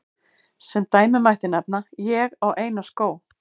Sem dæmi mætti nefna: Ég á eina skó.